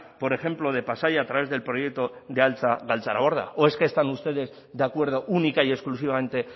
por ejemplo de pasaia a través del proyecto de altza galtzaraborda o es que están ustedes de acuerdo única y exclusivamente